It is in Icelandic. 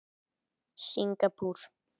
Singapúr